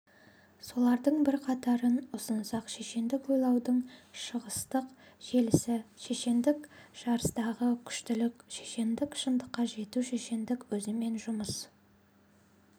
солардың бірқатарын ұсынсақ шешендік ойлаудың шығыстық желісі шешендік жарыстағы күштілік шешендік шындыққа жету шешендік өзімен жұмыс